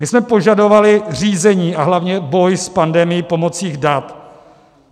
My jsme požadovali řízení a hlavně boj s pandemií pomocí dat.